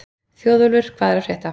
Þjóðólfur, hvað er að frétta?